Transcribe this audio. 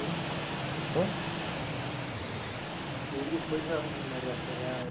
né? aí depois a é